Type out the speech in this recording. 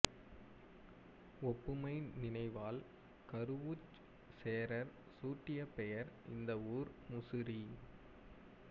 ஒப்புமை நினைவால் கருவூர்ச் சேரர் சூட்டிய பெயர் இந்த ஊர் முசிறி